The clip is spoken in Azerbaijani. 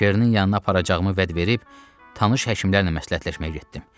Çernin yanına aparacağımı vəd verib, tanış həkimlərlə məsləhətləşmək getdim.